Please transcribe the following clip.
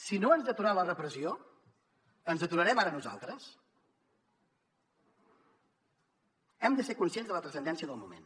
si no ens aturà la repressió ens aturarem ara nosaltres hem de ser conscients de la transcendència del moment